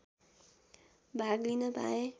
भाग लिन पाएँ